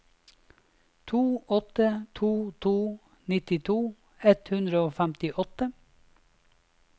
to åtte to to nittito ett hundre og femtiåtte